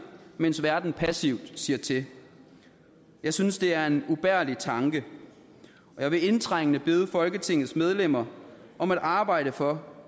mens verden passivt ser til jeg synes det er en ubærlig tanke jeg vil indtrængende bede folketingets medlemmer om at arbejde for